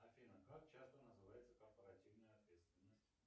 афина как часто называется корпоративная ответственность